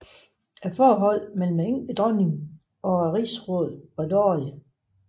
Forholdet mellem enkedronningen og rigsrådet var dårligt